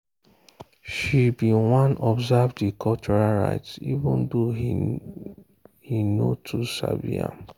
she been wan observe the cultural rites even thou he no too sabi am.